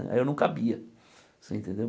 Aí eu não cabia, você entendeu?